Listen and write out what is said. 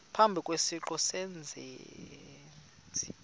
phambi kwesiqu sezenzi